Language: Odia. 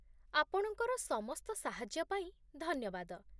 ଆପଣଙ୍କର ସମସ୍ତ ସାହାଯ୍ୟ ପାଇଁ ଧନ୍ୟବାଦ।